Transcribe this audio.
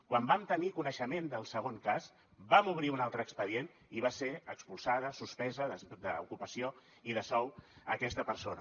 quan vam tenir coneixement del segon cas vam obrir un altre expedient i va ser expulsada suspesa d’ocupació i de sou aquesta persona